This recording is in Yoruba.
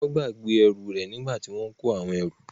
Wọ́n gbàgbé ẹrù rẹ̀ nígbà tí wọn kò àwọn ẹrù.